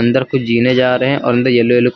अंदर कुछ जीने जा रहे हैं और अंदर येलो येलो कुछ--